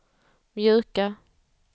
mjuka